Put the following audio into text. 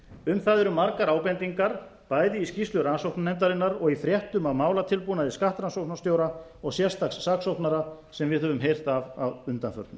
um það eru margar ábendingar bæði í skýrslu rannsóknarnefndarinnar og í fréttum af málatilbúnaði skattrannsókna stóru og sérstaks saksóknara sem við höfum heyrt af að undanförnu